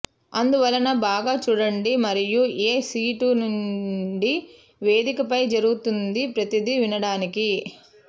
అందువలన బాగా చూడండి మరియు ఏ సీటు నుండి వేదికపై జరుగుతుంది ప్రతిదీ వినడానికి